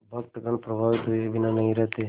भक्तगण प्रभावित हुए बिना नहीं रहते